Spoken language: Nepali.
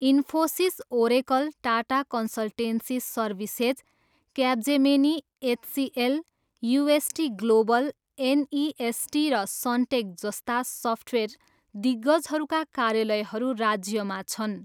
Infosys, oracle, Tata consultancy services, Capgemini, HCL, UST global, NEST र सनटेक जस्ता सफ्टवेयर दिग्गजहरूका कार्यालयहरू राज्यमा छन्।